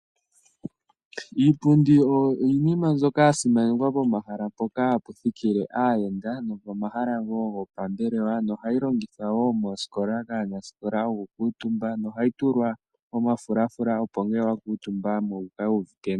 Iipundi oyo iinima mbyoka yasimanekwa pomahala poka haputhikile ayenda nopomahala wo ngopambelewa nohayi longithwa wo mooskola kanasikola oku kutumba nohayi tulwa omafulafula opo ngele wakutumbako wukale wuvite nawa.